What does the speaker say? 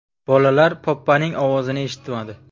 Bolalar Poppa’ning ovozini eshitmadi.